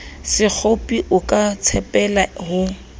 sekgopi o ka tshepela ho